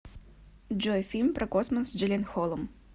джой фильм про космос с джилленхолом